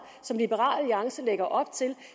som liberal alliance lægger op til